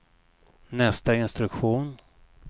nästa instruktion